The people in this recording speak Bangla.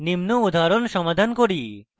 নিম্ন উদাহরণ সমাধান করুন